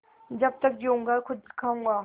जब तक जीऊँगा खुद खाऊँगा